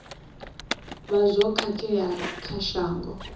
vha zwo khakhea kha shango